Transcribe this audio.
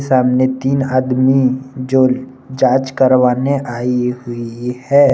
सामने तीन आदमी जो जांच करवाने आई हुई है।